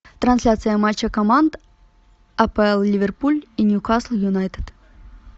трансляция матча команд апл ливерпуль и ньюкасл юнайтед